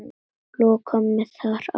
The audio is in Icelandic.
Loka mig þar af.